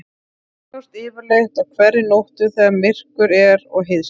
Þær sjást yfirleitt á hverri nóttu þegar myrkur er og heiðskírt.